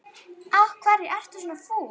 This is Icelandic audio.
Af hverju ertu svona fúll?